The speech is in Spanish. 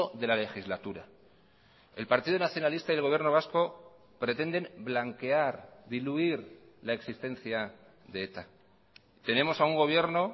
de la legislatura el partido nacionalista y el gobierno vasco pretenden blanquear diluir la existencia de eta tenemos a un gobierno